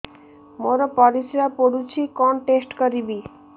ମୋର ପରିସ୍ରା ପୋଡୁଛି କଣ ଟେଷ୍ଟ କରିବି